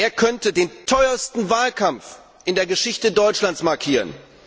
Er könnte den teuersten Wahlkampf in der Geschichte Deutschlands markieren.